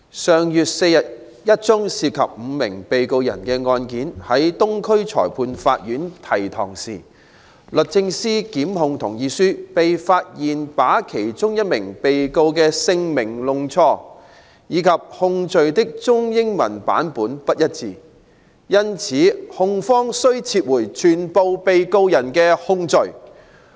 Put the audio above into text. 上月4日一宗涉及5名被告人的案件在東區裁判法院提堂時，律政司檢控同意書被發現把其中一名被告人的姓名弄錯，以及控罪的中英文版不一致，因此控方需撤回全部被告人的控罪。